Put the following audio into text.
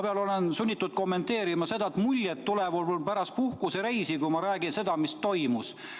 Ma olen sunnitud kommenteerima, et muljed tulevad mul pärast puhkusereisi, kui ma räägin seda, mis toimus.